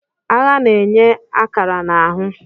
Agha na-enye akara na ahụ.